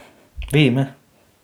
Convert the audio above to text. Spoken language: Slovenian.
Vidi me.